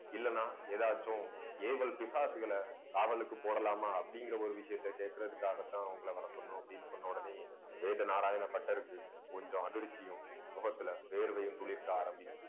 இல்லைன்னா ஏதாச்சும் ஏவல் பிசாசுகளை காவலுக்கு போடலாமா அப்படிங்கிற ஒரு விஷயத்தை, கேட்கிறதுக்காகத்தான் உங்களை வர சொன்னோம் அப்பிடின்னு சொன்ன உடனே, வேத நாராயண பட்டருக்கு கொஞ்சம் அதிர்ச்சியும் முகத்துல வேர்வையும் துளிர்க்க ஆரம்பிக்குது